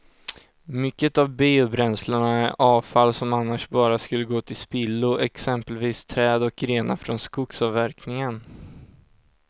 Mycket av biobränslena är avfall som annars bara skulle gå till spillo, exempelvis träd och grenar från skogsavverkningen.